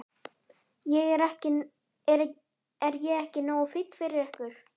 Er ég ekki nógu fínn fyrir ykkur?